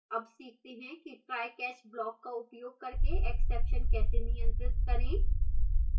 अब सीखते हैं कि try catch blockका उपयोग करके exception कैसे नियंत्रित करें